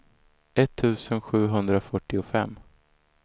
etttusen sjuhundrafyrtiofem